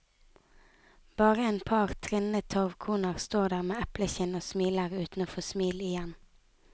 Bare en par trinne torvkoner står der med eplekinn og smiler uten å få smil igjen.